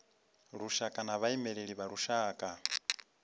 lushaka na vhaimeleli vha lushaka